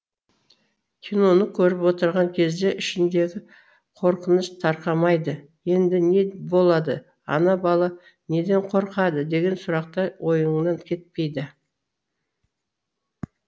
киноны көріп отырған кезде ішіңдегі қорқыныш тарқамайды енді не болады ана бала неден қорқады деген сұрақтар ойыңнан кетпейді